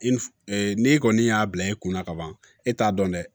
I f n'e kɔni y'a bila e kunna ka ban e t'a dɔn dɛ